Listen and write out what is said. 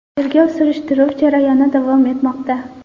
Tergov-surishtiruv jarayoni davom etmoqda.